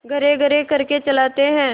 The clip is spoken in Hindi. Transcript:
घर्रघर्र करके चलाते हैं